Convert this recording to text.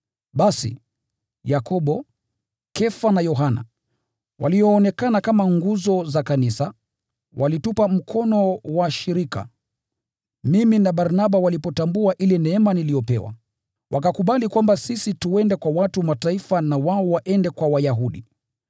Basi, Yakobo, Kefa na Yohana, walioonekana kama nguzo za kanisa, walitupa mkono wa shirika, mimi na Barnaba walipotambua ile neema niliyopewa. Wakakubali kwamba sisi twende kwa watu wa Mataifa na wao waende kwa Wayahudi.